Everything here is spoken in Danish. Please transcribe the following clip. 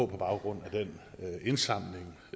på baggrund af den indsamling